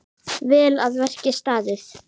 Vel að verki staðið.